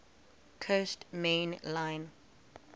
coast main line